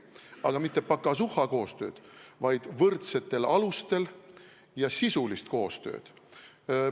Aga mitte pakasuha-koostööd, vaid võrdsetel alustel ja sisulist koostööd.